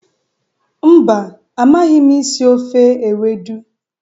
Mba, amaghi m isi ofe ewedu.